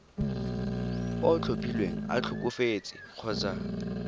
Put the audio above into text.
o tlhophilweng a tlhokafetse kgotsa